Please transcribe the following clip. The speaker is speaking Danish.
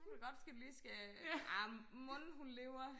det kunne godt ske du lige skal arh mon hun lever